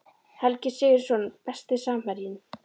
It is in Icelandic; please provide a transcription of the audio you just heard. Helgi Sigurðsson Besti samherjinn?